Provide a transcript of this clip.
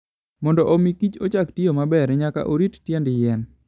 Mondo omi kich ochak tiyo maber, nyaka orit tiend yien.